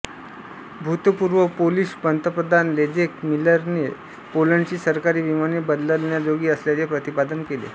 भूतपूर्व पोलिश पंतप्रधान लेझेक मिलरने पोलंडची सरकारी विमाने बदलण्याजोगी असल्याचे प्रतिपादन केले